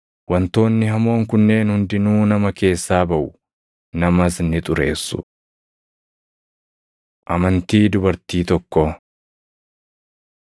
Wantoonni hamoon kunneen hundinuu nama keessaa baʼu; namas ‘ni xureessu.’ ” Amantii Dubartii Tokkoo 7:24‑30 kwf – Mat 15:21‑28